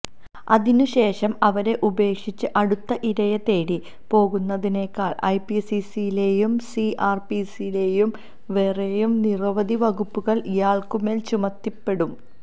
അതിനു ശേഷം അവരെ ഉപേക്ഷിച്ച് അടുത്ത ഇരയെത്തേടി പോകുന്നതിനാൽ ഐപിസിയിലെയും സിആർപിസിയിലെയും വേറെയും നിരവധി വകുപ്പുകൾ ഇയാൾക്കുമേൽ ചുമത്തപ്പെടും